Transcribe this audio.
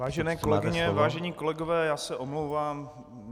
Vážené kolegyně, vážení kolegové, já se omlouvám.